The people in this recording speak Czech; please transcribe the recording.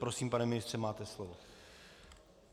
Prosím, pane ministře, máte slovo.